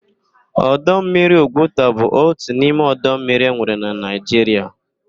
Ọdọ mmiri Ugwuta bụ otu n'ime ọdọ mmiri enwere na Naịjiria.